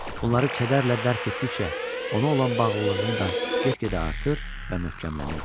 Bunları kədərlə dərk etdikcə, ona olan bağlılığım da get-gedə artır və möhkəmlənirdi.